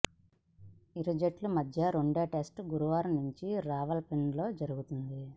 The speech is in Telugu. ఇరు జట్ల మధ్య రెండో టెస్టు గురువారం నుంచి రావల్పిండిలో జరుగుతుంది